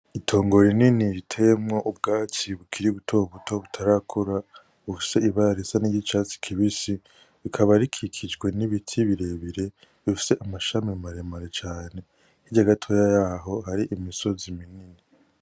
IItongo rinini riteyemwo ubwatsi bukiri butobuto butarakura bufise n'ibara risa n'icatsi kibisi, rikaba rikikijwe n'ibiti birebire bifise amashami maremare cane hirya gatoya yaho hari imisozi minini.